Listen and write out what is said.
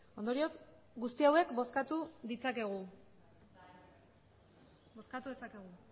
ondorioz guzti hauek bozkatu ditzakegu bozkatu dezakegu